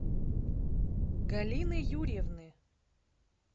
галины юрьевны